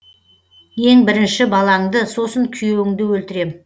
ең бірінші балаңды сосын күйеуіңді өлтірем